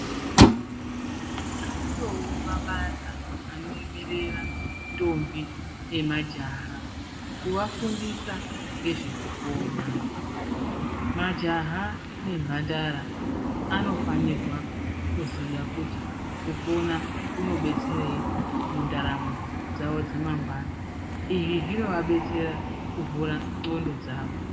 Ariyowo mabandla anoemerera ndombi nemajaha kuvafundisa ngezvekupona. Majaha nemhandara anofanirwa kuziya kuti kupona kunobetserei mundaramo dzawo dzamangwana. Izvi zvinovabetsera kuvhura ndxondo dzavo.